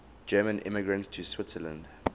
german immigrants to switzerland